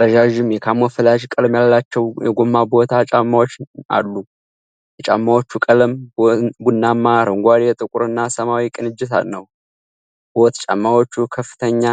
ረዣዥም የካሞፍላጅ ቀለም ያላቸው የጎማ ቦት ጫማዎች አሉ። የጫማዎቹ ቀለሞች ቡናማ፣ አረንጓዴ፣ ጥቁርና ሰማያዊ ቅንጅት ነው። ቦት ጫማዎቹ ከፍተኛ